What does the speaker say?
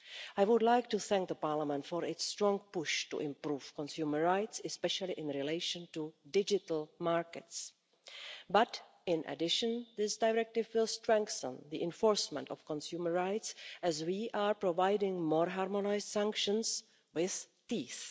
I would like to thank Parliament for its strong push to improve consumer rights, especially in relation to digital markets. But, in addition, this directive will strengthen the enforcement of consumer rights as we are providing more harmonised sanctions with teeth.